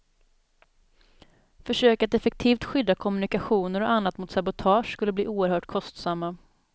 Försök att effektivt skydda kommunikationer och annat mot sabotage skulle bli oerhört kostsamma.